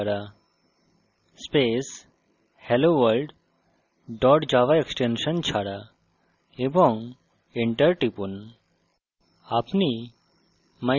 java c ছাড়া space helloworld dot java extension ছাড়া এবং enter টিপুন